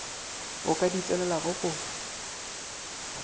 o ka di tsenelago o